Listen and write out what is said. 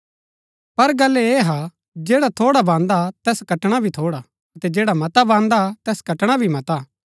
पर गल्ल ऐह हा जैडा थोड़ा बान्दा तैस कटणा भी थोड़ा अतै जैडा मता बान्दा तैस कटणा भी मता